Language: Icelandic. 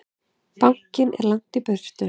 Bankinn er langt í burtu.